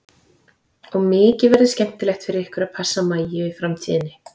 Og mikið verður skemmtilegt fyrir ykkur að passa Maju í framtíðinni.